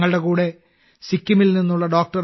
ഞങ്ങളുടെ കൂടെ സിക്കിമിൽ നിന്നുള്ള ഡോ